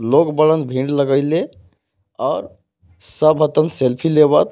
लोग बड़न भीड़ लगाइले और सब आवतन सेल्फी लेवत.